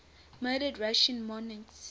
murdered russian monarchs